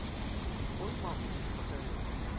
ой мамочки покажи